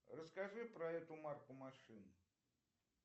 расскажи про эту марку машин